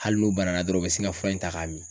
Hali n'u banana dɔrɔn u bɛ sin ka fura in ta k'a min.